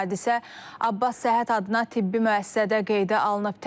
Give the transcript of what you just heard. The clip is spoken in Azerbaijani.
Hadisə Abbas Səhət adına tibbi müəssisədə qeydə alınıb.